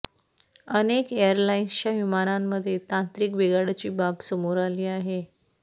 अनेक एअरलाईन्सच्या विमानांमध्ये तांत्रिक बिघाडाची बाब समोर आली आहे